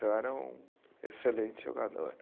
Eu era um excelente jogador.